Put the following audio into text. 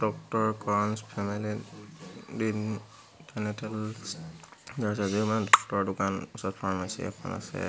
Doctor Karan's family দিন dentals দোকান ওচৰত ফাৰ্মেছি এখন আছে।